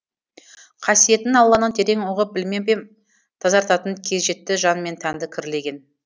қасиетін алланың терең ұғып білмеп ем тазартатын кез жетті жан мен тәнді кірлеген